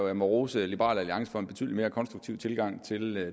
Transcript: jeg må rose liberal alliance for en betydelig mere konstruktiv tilgang til